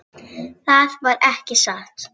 Það var ekki satt.